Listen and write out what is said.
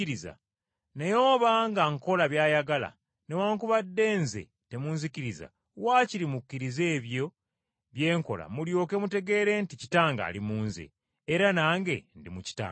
naye obanga nkola by’ayagala, newaakubadde Nze temunzikiriza waakiri mukkirize ebyo bye nkola mulyoke mutegeere nti Kitange ali mu Nze, era nange ndi mu Kitange.”